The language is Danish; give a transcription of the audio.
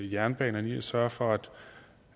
jernbanerne i at sørge for